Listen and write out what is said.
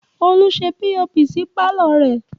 Olú ṣe POP sí pàlọ́ rẹ̀